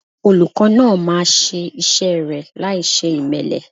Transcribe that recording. Olùkọ́ náà máa ṣe iṣẹ́ rẹ̀ láìṣe ìmẹ́lẹ́.